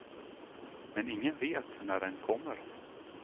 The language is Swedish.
Men ingen vet när den kommer.